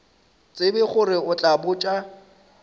tsebe gore o tla botša